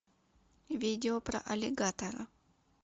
видео про аллигатора